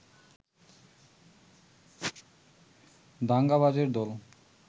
দাঙ্গাবাজের দল